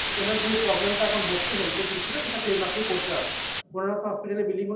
ওনার যে problem টা এখন হচ্ছে Healthএ যে issue টা সেটা claim আপনি করতে পারবেন, কোনোরকম hospital এ billing হলে